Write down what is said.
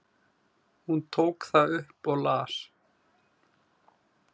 Hún tók það upp og las.